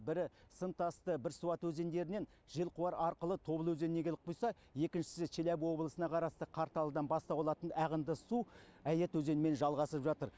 бірі сымтасты бірсуат өзендерінен желқуар арқылы тобыл өзеніне келіп құйса екіншісі челябі облысына қарасты қарталыдан бастау алатын әғынды су әйет өзенімен жалғасып жатыр